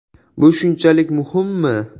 Bu shunchalik muhimmi?